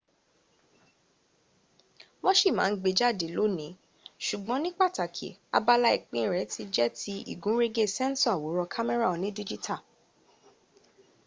wan ṣì ma ń gbe jáde lónìí, ṣùgbọ́n ní pàtàkì abala ìpín rẹ ti jẹ́ ti ìgúnrégé sensor àwòrán kémẹ́rà onídígítà